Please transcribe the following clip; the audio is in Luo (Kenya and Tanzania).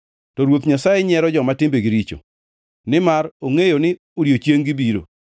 to Ruoth Nyasaye nyiero joma timbegi richo, nimar ongʼeyo ni odiechieng-gi biro.